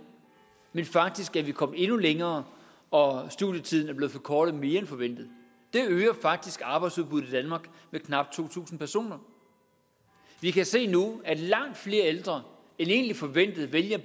men faktisk er vi kommet endnu længere og studietiden er blevet forkortet mere end forventet det øger faktisk arbejdsudbuddet i danmark med knap to tusind personer vi kan se nu at langt flere ældre end egentlig forventet vælger at